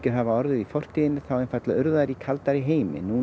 hafa orðið í fortíðinni þá urðu þær í kaldara heimi